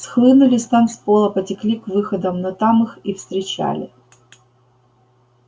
схлынули с танцпола потекли к выходам но там их встречали